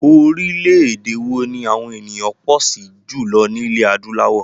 Orílẹ̀èdè wo ni àwọn ènìyàn pọ̀ sí jùlọ ní ilẹ̀ adúláwọ̀?